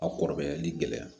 A kɔrɔbayali gɛlɛya